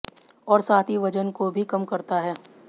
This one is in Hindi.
और साथ ही वजन को भी कम करता है